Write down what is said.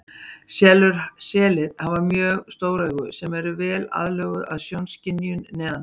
Selir hafa mjög stór augu sem eru vel aðlöguð að sjónskynjun neðansjávar.